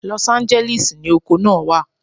Los Angeles ni oko naa wa